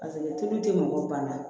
tulu tɛ mɔgɔ banna